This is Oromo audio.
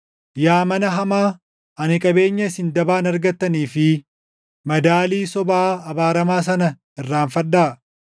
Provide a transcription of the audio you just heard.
Yaa mana hamaa, ani qabeenya isin dabaan argattanii fi madaalii sobaa abaaramaa sana irraanfadhaa?